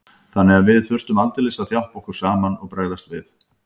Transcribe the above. Þannig að við þurftum aldeilis að þjappa okkur saman og bregðast við.